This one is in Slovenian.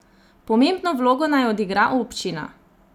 Pomembno vlogo naj odigra občina.